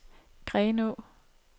Grenå